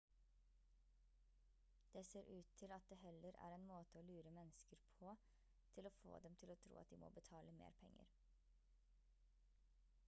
det ser ut til at det heller er en måte å lure mennesker på til få dem til å tro at de må betale mer penger